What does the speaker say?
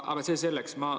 Aga see selleks.